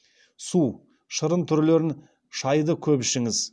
су шырын түрлерін шайды көп ішіңіз